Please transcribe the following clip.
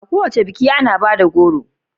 A kowace biki ana bada goro